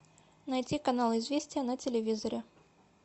найти канал известия на телевизоре